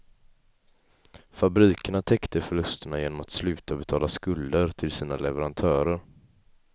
Fabrikerna täckte förlusterna genom att sluta betala skulder till sina leverantörer.